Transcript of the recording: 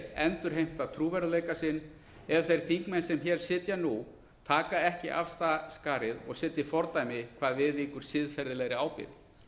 endurheimta trúverðugleika sinn ef þeir þingmenn sem hér sitja nú taka ekki af skarið og setji fordæmi hvað viðvíkur siðferðilegri ábyrgð